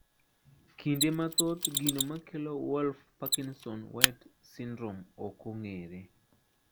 Kinde mathoth gino makelo Wolff Parkinson White syndrome okong`ere.